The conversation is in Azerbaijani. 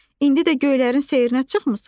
İndi də göylərin seyrinə çıxmısan?